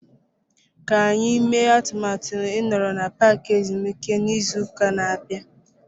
Ka anyị mee atụmatụ ịnọrọ na paaki ezumike n'izu ụka na-abịa.